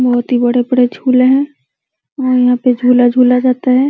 बोहोत ही बड़े-बड़े झूले हैं और यहाँ पे झूला झूला जाता है।